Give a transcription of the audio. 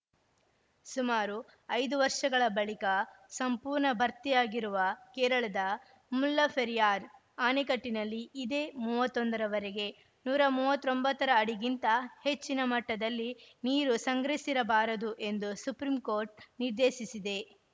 ಸುಮಾರು ಐದು ವರ್ಷಗಳ ಬಳಿಕ ಸಂಪೂರ್ಣ ಭರ್ತಿಯಾಗಿರುವ ಕೇರಳದ ಮುಲ್ಲಫೆರಿಯಾರ್‌ ಆಣೆಕಟ್ಟಿನಲ್ಲಿ ಇದೇ ಮೂವತ್ತ್ ಒಂದರವರೆಗೆ ನೂರ ಮೂವತ್ತ್ ಒಂಬತ್ತು ಅಡಿಗಿಂತ ಹೆಚ್ಚಿನ ಮಟ್ಟದಲ್ಲಿ ನೀರು ಸಂಗ್ರಹಿಸಿರ ಬಾರದು ಎಂದು ಸುಪ್ರೀಂಕೋರ್ಟ್‌ ನಿರ್ದೇಶಿಸಿದೆ